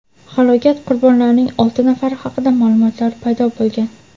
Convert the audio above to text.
halokat qurbonlarining olti nafari haqida ma’lumotlar paydo bo‘lgan.